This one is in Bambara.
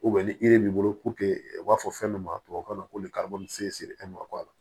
ni b'i bolo u b'a fɔ fɛn min ma tubabu kan na ko